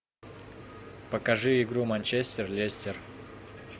покажи игру манчестер лестер